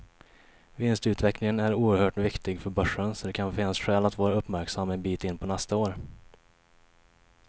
Vinstutvecklingen är oerhört viktig för börsen, så det kan finnas skäl att vara uppmärksam en bit in på nästa år.